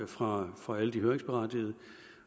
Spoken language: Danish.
fra fra alle de høringsberettigede